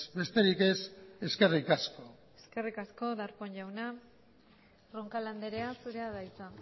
besterik ez eskerrik asko eskerrik asko darpón jauna roncal andrea zurea da hitza